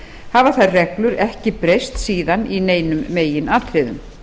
hafa þær reglur ekki breyst síðan í neinum meginatriðum